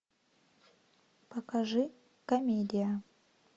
покажи комедия